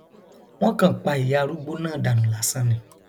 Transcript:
wọn kàn pa ìyá arúgbó náà dànù lásán ni